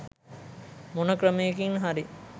මොන ක්‍රමයකින් හරි